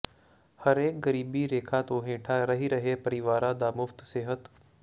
ਹਰੇਕ ਗਰੀਬੀ ਰੇਖਾ ਤੋਂ ਹੇਠਾਂ ਰਹਿ ਰਹੇ ਪਰਿਵਾਰਾਂ ਦਾ ਮੁਫ਼ਤ ਸਿਹਤ